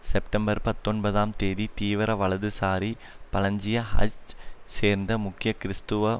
September பத்தொன்பதாம் தேதி தீவிர வலதுசாரி பலஞ்சிய ஹச் சேர்ந்த முக்கிய கிறிஸ்துவ